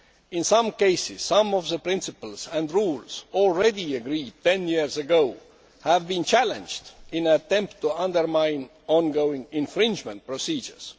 In some cases, some of the principles and rules already agreed ten years ago have been challenged in an attempt to undermine ongoing infringement procedures.